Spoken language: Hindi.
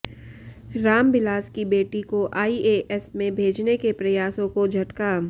रामबिलास की बेटी को आईएएस में भेजने के प्रयासों को झटका